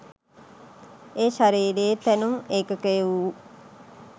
ඒ ශරීරයේ තැනුම් ඒකකය වූ